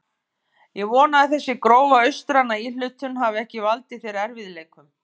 Ég vona að þessi grófa austræna íhlutun hafi ekki valdið þér erfiðleikum.